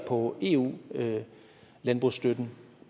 på eu landbrugsstøtten